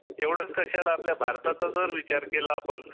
एवढेच कशाला आपल्या भारताचा जर विचार केला आपण